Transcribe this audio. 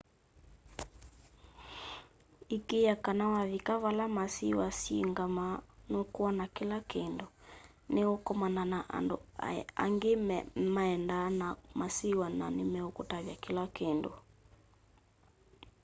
ikiiya kana wavika vala masiwa syingamaa nukwona kila kindu ni ukomana na andu angi maendaa na masiwa na ni mekuutavya kila kindu